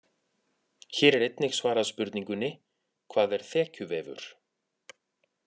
Hér er einnig svarað spurningunni: Hvað er þekjuvefur?